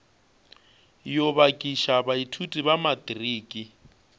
yo bakiša baithuti ba matriki